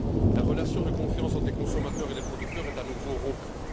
La relation de confiance entre les consommateurs et les producteurs est à nouveau rompue.